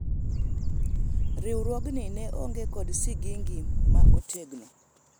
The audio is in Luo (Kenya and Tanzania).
riwruogni ne onge kod sigingi ma otegno